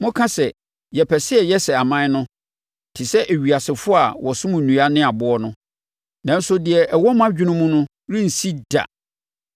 “ ‘Moka sɛ, “Yɛpɛ sɛ yɛyɛ sɛ aman no, te sɛ ewiasefoɔ a wɔsom nnua ne aboɔ no.” Nanso deɛ ɛwɔ mo adwene mu no rensi da.